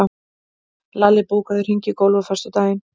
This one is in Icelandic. Lalli, bókaðu hring í golf á föstudaginn.